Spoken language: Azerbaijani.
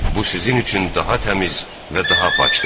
Bu sizin üçün daha təmiz və daha pakdır.